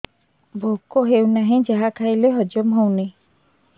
ଭୋକ ହେଉନାହିଁ ଯାହା ଖାଇଲେ ହଜମ ହଉନି